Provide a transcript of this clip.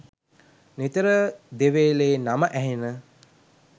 නිතර දෙවේලෙ නම ඇහෙන.